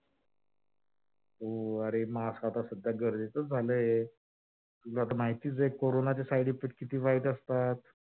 हो अरे mask आता सध्या गरजेचंच झालय तुला तर माहितीच आहे? corona चे side effects किती वाईट असतात.